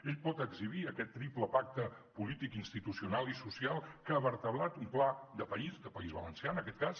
ell pot exhibir aquest triple pacte polític institucional i social que ha vertebrat un pla de país de país valencià en aquest cas